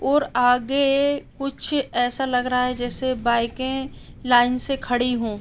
और आगे कुछ ऐसा लग रहा है जैसे बाइके लाइन से खड़ी हो।